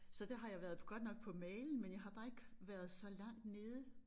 Så der har jeg været på godt nok på mailen men jeg har bare ikke været så langt nede